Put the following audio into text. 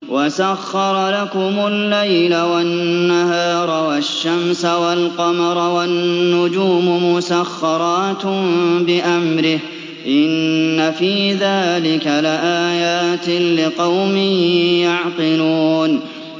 وَسَخَّرَ لَكُمُ اللَّيْلَ وَالنَّهَارَ وَالشَّمْسَ وَالْقَمَرَ ۖ وَالنُّجُومُ مُسَخَّرَاتٌ بِأَمْرِهِ ۗ إِنَّ فِي ذَٰلِكَ لَآيَاتٍ لِّقَوْمٍ يَعْقِلُونَ